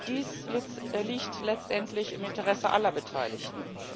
Dies liegt letztendlich im Interesse aller Beteiligten.